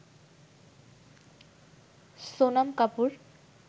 Sonam Kapoor